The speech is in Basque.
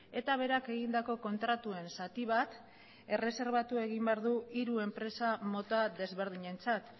eta berak egindako kontratuen zati bat erreserbatu egin behar du hiru enpresa mota desberdinentzat